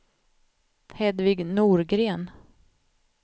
Hedvig Norgren